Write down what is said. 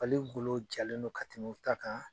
Fali golo jalen don ka tɛmɛ u ta kan